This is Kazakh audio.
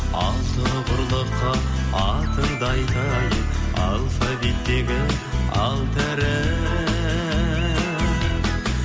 алты құрлыққа атыңды айтайын алфавиттегі алты әріп